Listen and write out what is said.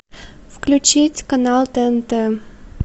включить канал тнт